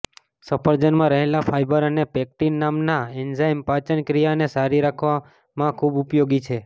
સફરજનમાં રહેલા ફાઈબર અને પેક્ટિન નામના એન્ઝાઈમ પાચન ક્રિયાને સારી રાખવામાં ખૂબ ઉપયોગી છે